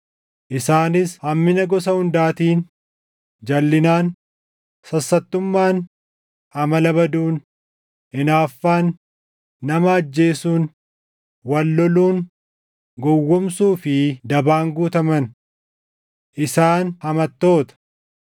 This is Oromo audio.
Isaanis hammina gosa hundaatiin, jalʼinaan, sassattummaan, amala baduun, hinaaffaan, nama ajjeesuun, wal loluun, gowwoomsuu fi dabaan guutaman. Isaan hamattoota,